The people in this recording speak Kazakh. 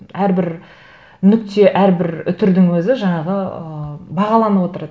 әрбір нүкте әрбір үтірдің өзі жаңағы ыыы бағаланып отырады